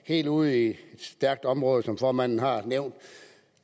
helt ude i et stærkt område som formanden har nævnt